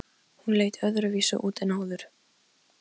Lýk upp fyrsta desember svo dúskur rifnar af húfu.